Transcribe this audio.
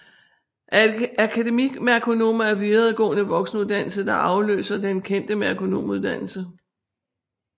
Akademimerkonomer en videregående voksenuddannelse der afløser den kendte merkonomuddannelse